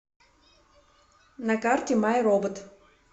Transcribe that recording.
на карте май робот